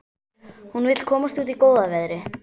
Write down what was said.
Hún vill komast út í góða veðrið.